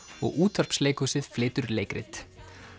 og útvarpsleikhúsið flytur leikrit